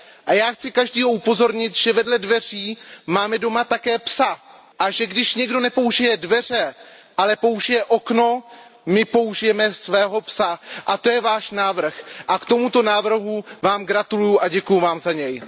A já chci každého upozornit, že vedle dveří máme doma také psa a že když někdo nepoužije dveře, ale použije okno, my použijeme svého psa. A to je váš návrh a k tomuto návrhu vám gratuluju a děkuju vám za něj.